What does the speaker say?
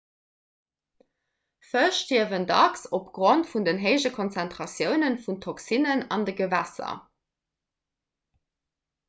fësch stierwen dacks opgrond vun den héije konzentratioune vun toxinen an de gewässer